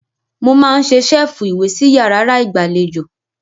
Mo máa n ṣe ṣẹ́ẹ́fù ìwé sí yàrárá ìgbàlejò.